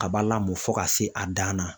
kaba lamɔ fo ka se a dan na.